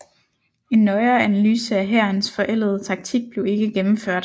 En nøjere analyse af hærens forældede taktik blev ikke gennemført